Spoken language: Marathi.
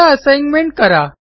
आता असाइनमेंट करा